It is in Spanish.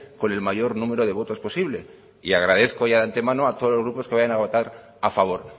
con el mayor número de votos posible y agradezco ya de antemano a todos los grupos que vayan a votar a favor